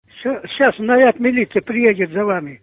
все сейчас наряд милиции приедет за вами